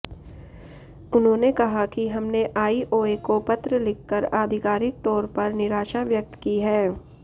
उन्होंने कहा कि हमने आईओए को पत्र लिखकर आधिकारिक तौर पर निराशा व्यक्त की है